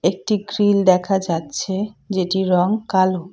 একটি গ্রিল দেখা যাচ্ছে যেটির রং কালো।